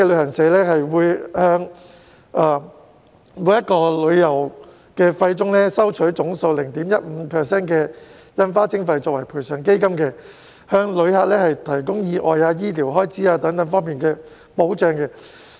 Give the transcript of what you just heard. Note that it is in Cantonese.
本港旅行社會從每筆旅遊費中收取總數 0.15% 的印花徵費作為賠償基金，向旅客提供意外和醫療開支等方面的保障。